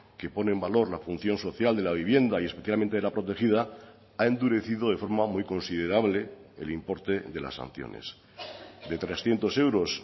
que pone en valor la función social de la vivienda y especialmente de la protegida ha endurecido de forma muy considerable el importe de las sanciones de trescientos euros